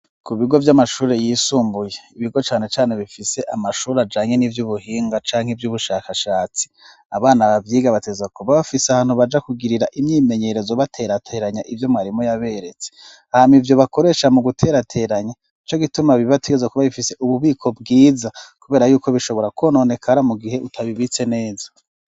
Ku bigo vy'amashure yisumbuye, ibigo cane cane bifise amashure ajanye n'ivy'ubuhinga canke ivy'ubushakashatsi, abana bavyiga bategerezwa kuba bafise ahantu baja kugirira imyimenyerezo baterateranya ivyo mwarimu yaberetse hanyuma ivyo bakoresha mu guterateranya nico gituma bibatigaza kuba bifise ububiko bwiza kubera yuko bishobora kononekara mu gihe utabibitse neza.